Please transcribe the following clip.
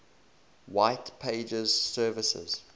white pages services